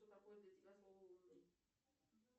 что такое для тебя слово умный